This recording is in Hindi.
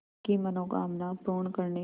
की मनोकामना पूर्ण करने